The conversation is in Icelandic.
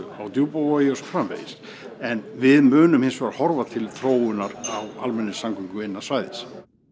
á Djúpavogi og svo framvegis en við munum hins vegar horfa til þróunar á almenningsamgöngum innan svæðis